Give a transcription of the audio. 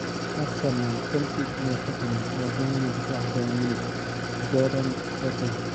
(Record, via Sport Witness) Arsenal, Chelsea iyo Tottenham ayaa doonaya daafaca Bayern Munich Jerome Boateng.